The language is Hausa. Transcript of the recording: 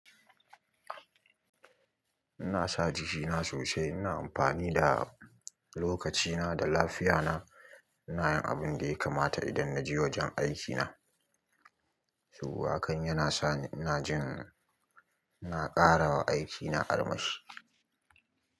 Ina sa jikina sosai, ina amfani da lokacina da lafiyana, ina yin abin da ya kamata idan na je wajen aikina. To hakan yana sa ina jin ina ƙarawa aikina armashi.